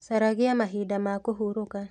Caragia mahinda ma kũhurũka